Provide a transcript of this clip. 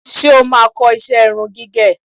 Ṣé o máa kọ́ iṣẹ́ irun gígẹ̀?